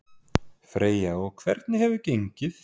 Freyja: Og hvernig hefur gengið?